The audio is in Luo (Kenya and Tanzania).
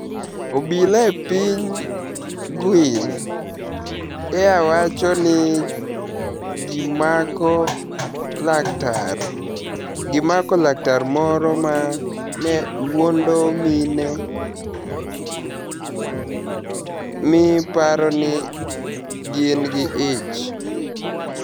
obila e piniy Guini ea wacho nii gimako laktar moro ma ni e wuonido mini e mi paro nii gini gi ich.